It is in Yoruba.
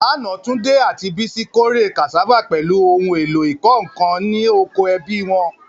Lánàá, Tunde àti Bisi kórè cassava pẹ̀lú ohun èlò ìkọ́ nǹkan ní oko ẹbí wọn.